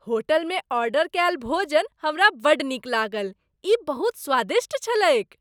होटलमे ऑर्डर कयल भोजन हमरा बड़ नीक लागल। ई बहुत स्वादिष्ट छलैक।